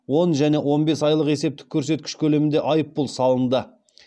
көлемінде айыппұл салынды